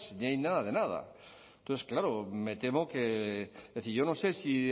ni hay nada de nada entonces claro me temo que es decir yo no sé si